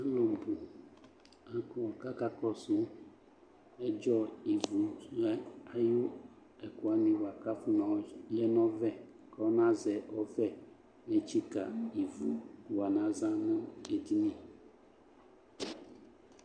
Alʋbʋ akɔ kʋ akakɔsʋ ɛdzɔ ivu lɛ ayʋ ɛkʋ wanɩ bʋa kʋ afɔnayɔ zu lɛ nʋ ɔvɛ kɔnazɛ ɔvɛ netsikǝ ivu yɔnazan nʋ edini